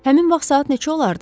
Həmin vaxt saat neçə olardı?